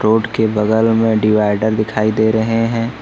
उसके बगल में डिवाइड दिखाई दे रहे हैं।